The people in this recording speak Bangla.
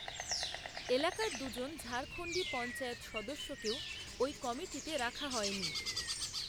এলাকার দুজন ঝাড়খণ্ডী পঞ্চায়েত সদস্যকেও ওই কমিটিতে রাখা হয়নি